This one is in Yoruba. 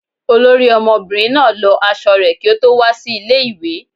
Olori omobirin na lò aṣọ re ki o to wa si ile-iwe